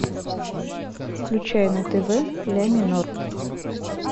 включай на тв ля минор